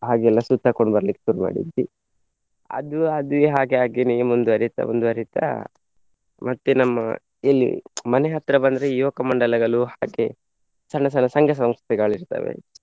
ಹಾಗೆ ಎಲ್ಲ ಸುತ್ತಾಕ್ಕೊಂಡ್ ಬರ್ಲಿಕ್ಕೆ ಶುರು ಮಾಡಿದ್ವಿ. ಅದು ಅದೇ ಹಾಗೆ ಹಾಗೇನೆ ಮುಂದುವರಿತ ಮುಂದುವರಿತ ಮತ್ತೆ ನಮ್ಮ ಎಲ್ಲಿ ಮನೆ ಹತ್ರ ಬಂದ್ರೆ ಯುವಕ ಮಂಡಲಗಳು ಹಾಗೆ ಸಣ್ಣ ಸಣ್ಣ ಸಂಘ ಸಂಸ್ಥೆಗಳು ಇರ್ತವೆ.